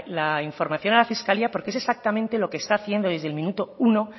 la información a la fiscalía porque es exactamente lo que está haciendo desde el minuto uno